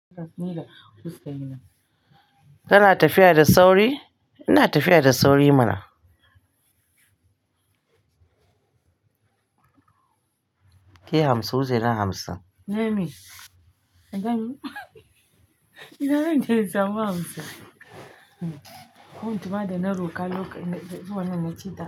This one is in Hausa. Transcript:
Kana tafiya da sauri? Ina tafiya da sauri mana. Ki yi hamsin, wuche yi na hamsin. Nemi, kaga me ina zan je in samu hamsin. Kun tuɓa da na roƙa lokacin da zuwa nan na ci.